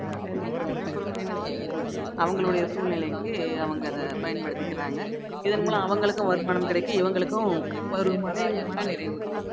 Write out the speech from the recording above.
அப்புறம் என்ன சொல்றது அவங்களுடைய சூழ்நிலைக்கு அவங்க அதை பயன்படுத்திக்கிறாங்க இதன் மூலம் அவங்களுக்கும் வருமானம் கிடைக்கும் இவங்களுக்கும் ஒரு மன~ மனநிறைவு கிடைக்கும்